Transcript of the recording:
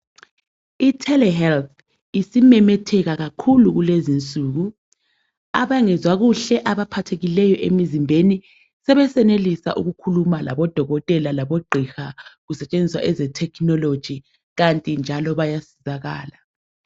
I telehealth isimemetheka kakhulu kulezinsuku. Abangezwa kuhle abaphathekileyo emzimbeni sebesenelisa ukukhuluma labodokotela labogqeka kusetshenziswa eze technology kanti njalo bayasizakala.